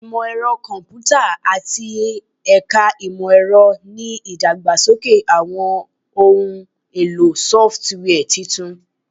Imọ-ẹrọ Kọmputa ati Ẹka Imọ-ẹrọ ni idagbasoke awọn ohun elo sọfitiwia tuntun